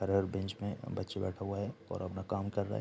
हर bench में बच्चे बैठे हुए हैं और अपना काम कर रहे --